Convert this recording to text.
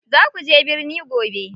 Za kuje birni gobe.